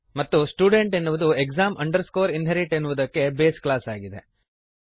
ಮತ್ತು ಸ್ಟುಡೆಂಟ್ ಎನ್ನುವುದು exam inherit ಎನ್ನುವುದಕ್ಕೆ ಬೇಸ್ ಕ್ಲಾಸ್ ಆಗಿದೆ